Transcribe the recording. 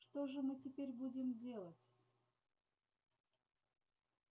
что же мы теперь будем делать